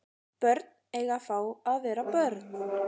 Börn eiga að fá að vera börn